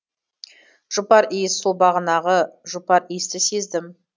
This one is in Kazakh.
жұпар иіс сол бағанағы жұпар иісті сездім